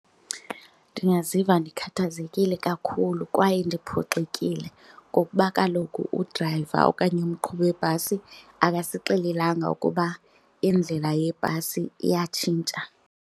Ndingaziva ndikhathazekile kakhulu kwaye ndiphoxekile ngokuba kaloku udrayiva okanye umqhubi webhasi akasixelelanga ukuba indlela yebhasi iyatshintsha.